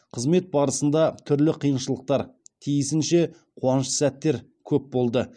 қызмет барысында түрлі қиыншылықтар тиісінше қуанышты сәттер көп болды